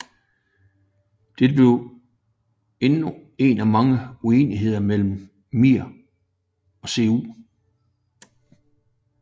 Dette blev endnu en af mange uenigheder mellem MIR og CU